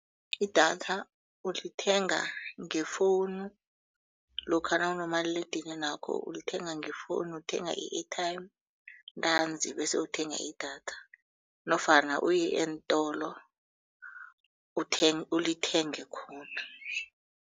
Idatha ulithenga ngefowunu lokha nawunomaliledinini wakho ulithenga ngefowunu uthenga i-airtime ntanzi bese uthenga idatha nofana uye eentolo ulithenge khona.